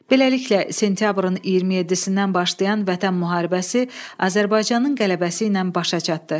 Beləliklə, sentyabrın 27-dən başlayan Vətən müharibəsi Azərbaycanın qələbəsi ilə başa çatdı.